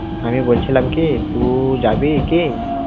আমি বলছিলাম কি, তুই~ যাবি কি?